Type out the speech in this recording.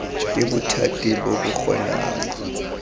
ke bothati bo bo kgonang